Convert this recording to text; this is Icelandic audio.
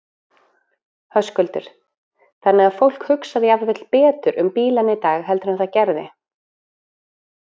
Höskuldur: Þannig að fólk hugsar jafnvel betur um bílana í dag heldur en það gerði?